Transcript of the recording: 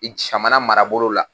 I camana marabolo la